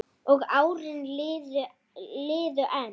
Og árin liðu enn.